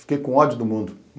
Fiquei com ódio do mundo.